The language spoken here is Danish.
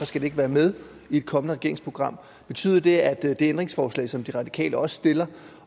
skal være med i et kommende regeringsprogram betyder det at det ændringsforslag som de radikale også stiller